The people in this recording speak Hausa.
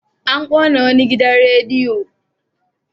An ƙona wani gidan radiyo.